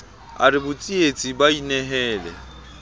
a re botsietsi ba inehele